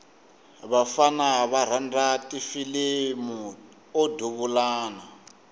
vafana va rhandza ti filimu o duvulana